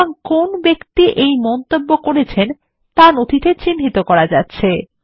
সুতরাং কোন ব্যক্তি এই মন্তব্য করেছেন তা নথিতে চিহ্নিত করা যাচ্ছে